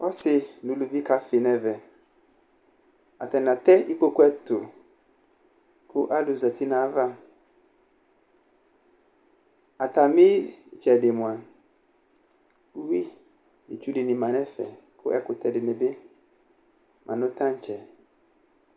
ɔsɩ nʊ uluvi kafɩ nɛmɛ atanɩ atɛ ɩkpoku ɛtʊ kʊ alʊzati nʊ ayava atamɩ ɩtsedɩ mʊa ʊyui nʊ itsu dɩnɩ ma nʊ ɛfɛ kʊ ɛkutɛ dɩnɩbɩ ma nʊ tãtsɛ